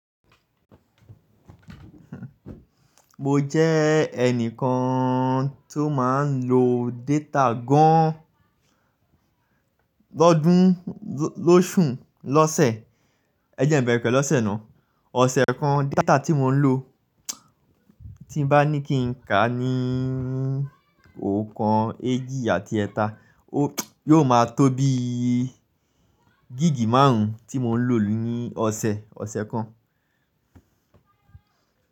Mo jẹ́ ẹnìkan tó máa ń lo data gan, lọ́ọ̀dún, lóòṣù, lọ́ọ̀sẹ̀. Ẹ jẹ́ n bẹ̀rẹ̀ pẹ̀lú ọ̀sẹ̀ ná. Ọ̀sẹ̀ kan data tí mò ń lò tí báni kin ka ní ọ̀kan, èjì àti ẹ̀ta yó ma tó bí gigi máàrùn tí mò ń lò ní ọ̀sẹ̀ kan.